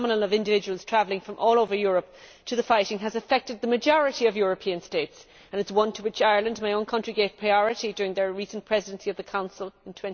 The phenomenon of individuals travelling from all over Europe to the fighting has affected the majority of European states and it is one to which Ireland, my own country, gave priority during their recent Presidency of the Union in